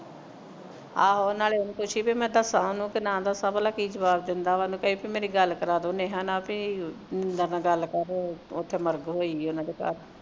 ਆਹ ਨਾਲੋਂ ਉਹਨੂੰ ਪੁੱਛੀਂ ਬਹਿ ਮੈਂ ਦੱਸਾਂ ਉਹਨੂੰ ਕੇ ਨਾਂ ਦੱਸਾਂ ਭਲਾ ਕੀ ਜਵਾਬ ਦਿੰਦਾ ਵਾ ਉਹਨੂੰ ਕਹੀਂ ਪੀ ਮੇਰੀ ਗਲ ਕਰਵਾ ਦੇਵੋ ਨੇਹਾ ਨਾਲ ਪੀ ਏਦਾਂ ਗਲ ਕਰ ਓਥੇ ਮਰਦ ਹੋਇਆ ਉਹਨਾਂ ਦੇ ਘਰ